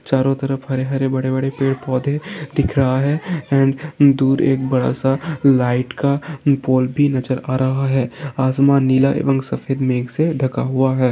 चारो तरफ हरे हरे बड़े बड़े पेड़ पौधे दिख रहा है एंड दूर एक बडा सा लाइट का पोल भी नज़र आ रहा है आसमान नीला एवम सफ़ेद मेघ से ढाका हुआ है।